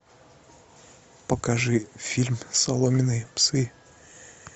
покажи фильм соломенные псы